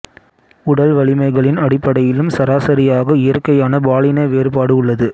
உடல் வலிமைகளின் அடிப்படையிலும் சராசரியாக இயற்கையான பாலின வேறுபாடு உள்ளது